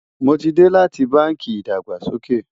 mó tí dé láti bánkì ìdàgbàsókè